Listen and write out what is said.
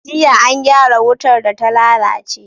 Jiya an gyara wutar data lalace